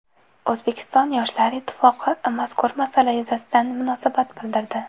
O‘zbekiston Yoshlar ittifoqi mazkur masala yuzasidan munosabat bildirdi.